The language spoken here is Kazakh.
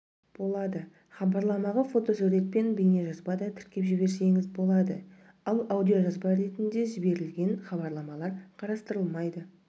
болады хабарламаға фотосурет пен бейнежазба да тіркеп жіберсеңіз болады ал аудиожазба ретінде жіберілген хабарламалар қарастырылмайды